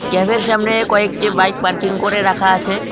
Cafe -এর সামনে কয়েকটি বাইক পার্কিং করে রাখা আছে।